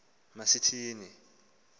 ma sithi ni